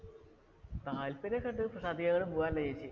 താല്പര്യം ഒക്കെ ഉണ്ട്. പക്ഷേ, അധികം അങ്ങനെ പോകാറില്ല ചേച്ചി.